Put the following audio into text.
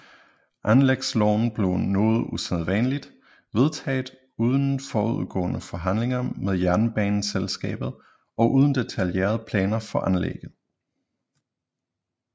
Anlægsloven blev noget usædvanligt vedtaget uden forudgående forhandlinger med jernbaneselskabet og uden detaljerede planer for anlægget